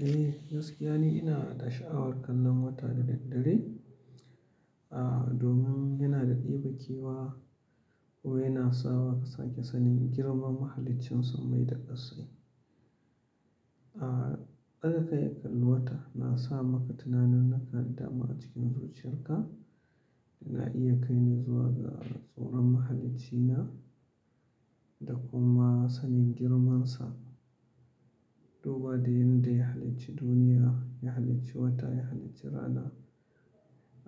Eh gaskiya ne ina da sha'awar kallon wata da daddare, ah domin yana da ɗebe kewa, wai yana sawa ka sake sanin girman mahalincin sammai da ƙassai. Ah, ɗaga kai kallon wata nasa maka tunaninnika ƙarida mara cikin zuciyarka, yana iya kai ni zuwa ga tsoron mahalicc ina da kuma sanin girmansa. Duba da yanda ya halicci duniya, ya halicci wata, ya halicci rana,